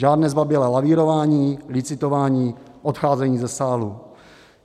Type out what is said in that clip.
Žádné zbabělé lavírování, licitování, odcházení ze sálu.